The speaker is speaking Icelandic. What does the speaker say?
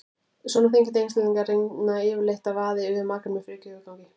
Svona þenkjandi einstaklingar reyna yfirleitt að vaða yfir makann með frekju og yfirgangi.